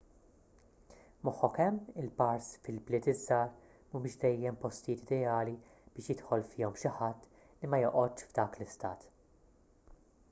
moħħok hemm il-bars fil-bliet iż-żgħar mhumiex dejjem postijiet ideali biex jidħol fihom xi ħadd li ma joqgħodx f'dak l-istat